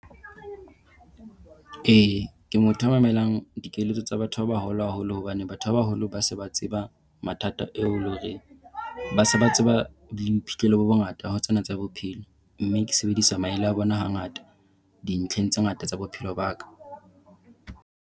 E, ke motho ya mamelang dikeletso tsa batho ba baholo haholo hobane batho ba baholo ba se ba tseba mathata ao e leng hore ba se ba tseba le boiphihlelo bo bongata ho tsena tsa bophelo. Mme ke sebedisa maele a bona hangata dintlheng tse ngata tsa bophelo ba ka.